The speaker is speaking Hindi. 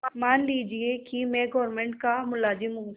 मान लीजिए कि मैं गवर्नमेंट का मुलाजिम हूँ